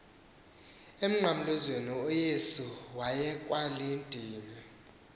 emnqamlezweni uyesu wayekwalidini